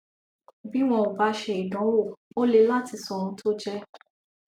bí wọn ò bá ṣe ìdánwò ó le láti sọ ohun tó jẹ